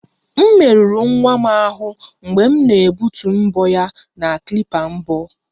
M merụrụ nwa m ahụ mgbe m na-egbutu mbọ ya na klipa mbọ